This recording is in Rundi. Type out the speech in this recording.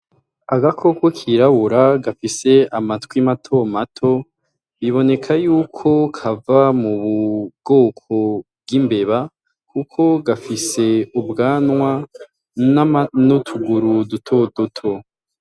Agakoko kirabura gafise amatwi mato mato, bibineko yuko kava mu bwoko bw'imbeba kuko gafise ubwanwa n'utuguru duto duto.